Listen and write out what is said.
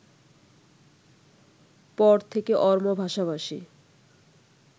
পর থেকে অরমো ভাষাভাষী